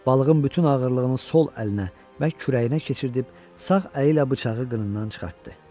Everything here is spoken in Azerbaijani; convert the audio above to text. Balığın bütün ağırlığını sol əlinə və kürəyinə keçirib sağ əli ilə bıçağı qınından çıxartdı.